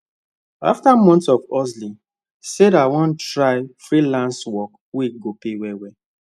after months of hustling sarah wan try freelance work wey go pay well well